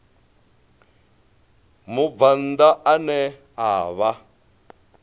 mubvann ḓa ane a vha